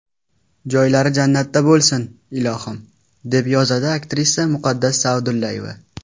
Joylari jannatda bo‘lsin, ilohim”, deb yozadi aktrisa Muqaddas Sa’dullayeva.